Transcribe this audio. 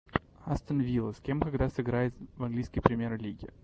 астон вилла с кем и когда сыграет в английской премьер лиги